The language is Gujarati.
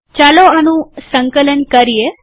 ચાલો આનું સંકલન કરીએ